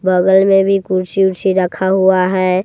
बगल मे भी कुर्सी उर्सी रखा हुआ हैं।